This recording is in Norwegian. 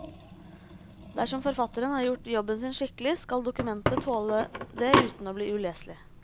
Dersom forfatteren har gjort jobben sin skikkelig skal dokumentet tåle det uten å bli uleselig.